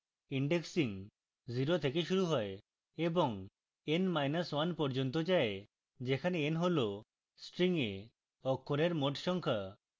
indexing 0 থেকে শুরু হয় এবং n1 পর্যন্ত যায়